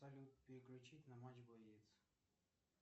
салют переключить на матч боец